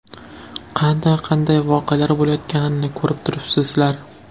Qanday-qanday voqealar bo‘layotganini ko‘rib turibsizlar.